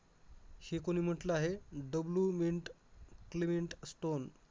हे कोणी म्हटलं आहे, W मिंट क्लेवेन्ट स्टोन.